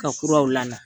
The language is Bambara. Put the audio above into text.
Ka kuraw la